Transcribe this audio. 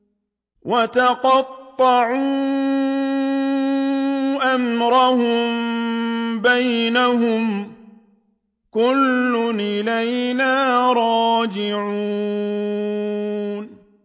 وَتَقَطَّعُوا أَمْرَهُم بَيْنَهُمْ ۖ كُلٌّ إِلَيْنَا رَاجِعُونَ